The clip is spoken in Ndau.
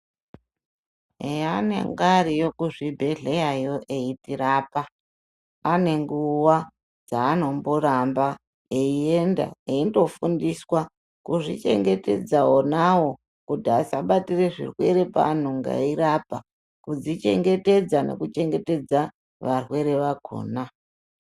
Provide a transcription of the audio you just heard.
Heanenge ariyo kuzvibhedhlyayo eitirapa anenguva dzaanomboramba eienda eindofundiswa kuzvichengetedza vonavo kuti asabatire zvirwere paanonga eirapa. Kudzichengetedza nekuchengetedza varwere vakona.